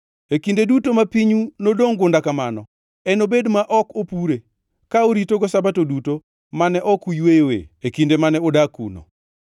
E kinde duto ma pinyu nodongʼ gunda kamano, enobed ma ok opure, ka oritogo Sabato duto mane ok oyweyoe e kinde mane udak kuno.